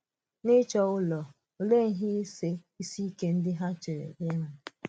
N’ịchọ̀ ụlọ, òleè ihe ìsì ìsì ike ndị ha chèrè ihu?